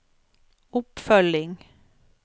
oppfølging